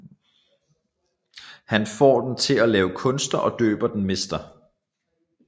Han får den til at lave kunster og døber den Mr